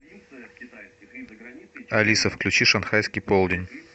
алиса включи шанхайский полдень